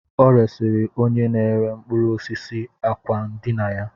O resịrị onye na-ere mkpụrụ osisi àkwá ndina ya